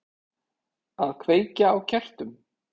Að kveikja á kertum.